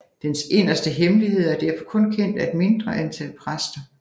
Dens inderste hemmeligheder er derfor kun kendt af et mindre antal præster